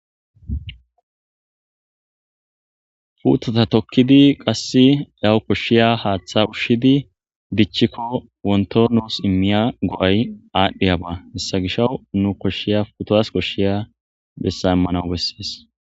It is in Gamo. Puuteta tokkidi qassi aw koshshiya haaththa ushshidi dichiko wonto nuus immiya go'ay aadhiyaba hessa gishaw ne koshshiya etas koshshiya bessa immanaw bessees.